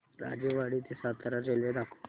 राजेवाडी ते सातारा रेल्वे दाखव